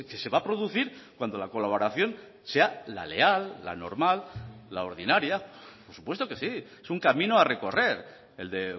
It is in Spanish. se va a producir cuando la colaboración sea la leal la normal la ordinaria por supuesto que sí es un camino a recorrer el de